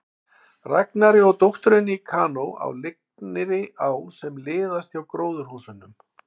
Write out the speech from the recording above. Ragnari og dótturinni í kanó á lygnri á sem liðaðist hjá gróðurhúsunum.